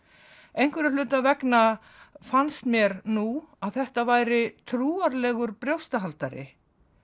einhverra hluta vegna fannst mér nú að þetta væri trúarlegur brjóstahaldari